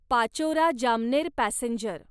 Pachora Jamner passenger